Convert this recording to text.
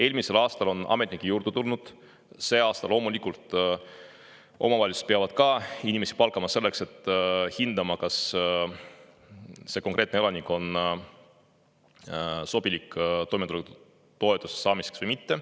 Eelmisel aastal on ametnikke juurde tulnud, see aasta loomulikult omavalitsused peavad ka inimesi juurde palkama selleks, et hinnata, kas see konkreetne elanik on sobilik toimetulekutoetust saama või mitte.